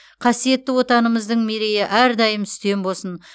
қасиетті отанымыздың мерейі әрдайым үстем болсын